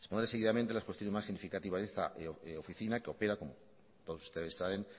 expondré seguidamente las cuestiones más significativas de esta oficina que opera como todos ustedes saben